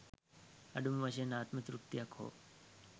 අඩුම වශයෙන් ආත්ම තෘප්තියක් හෝ